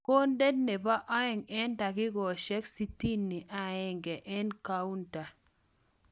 Konda nebo aeng eng dakikoshek 61 eng kaunta.